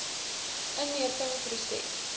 inentingproses